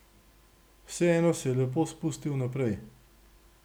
Vseeno se je lepo spustil naprej.